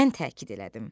Mən təkid elədim.